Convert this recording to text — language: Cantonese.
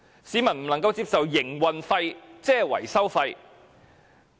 市民不能接受營運費即是維修費。